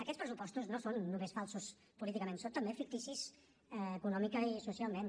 aquests pressupostos no són només falsos políticament són també ficticis econòmicament i socialment